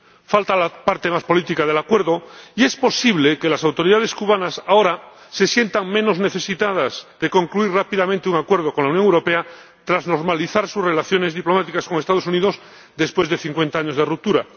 Falta la parte más política del acuerdo y es posible que las autoridades cubanas ahora se sientan menos necesitadas de concluir rápidamente un acuerdo con la Unión Europea tras normalizar sus relaciones diplomáticas con los Estados Unidos, después de cincuenta años de ruptura.